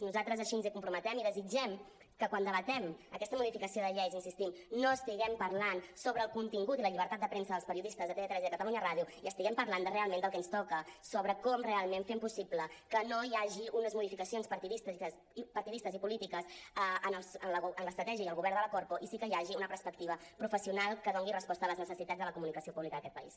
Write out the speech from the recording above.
nosaltres així ens hi comprometem i desitgem que quan debatem aquesta mo·dificació de llei hi insistim no estiguem parlant sobre el contingut i la llibertat de premsa dels periodistes de tv3 i de catalunya ràdio i estiguem parlant realment del que ens toca sobre com realment fem possible que no hi hagi unes modificacions partidistes i polítiques en l’estratègia i el govern de la corpo i sí que hi hagi una perspectiva professional que doni resposta a les necessitats de la comunicació públi·ca d’aquest país